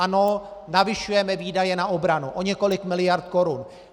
Ano, navyšujeme výdaje na obranu o několik miliard korun.